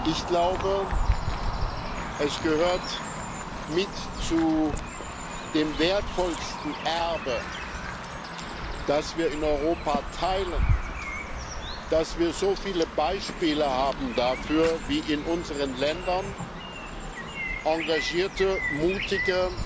Ich glaube, es gehört mit zu dem wertvollsten Erbe, das wir in Europa teilen, dass wir so viele Beispiele dafür haben, wie in unseren Ländern engagierte, mutige,